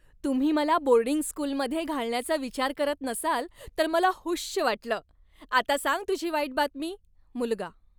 तुम्ही मला बोर्डिंग स्कूलमध्ये घालण्याचा विचार करत नसाल तर मला हुश्श वाटलं. आता सांग तुझी वाईट बातमी. मुलगा